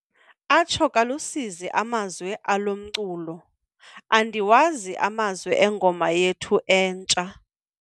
Atsho kalusizi amazwi alo mculo. andiwazi amazwi engoma yethu entsha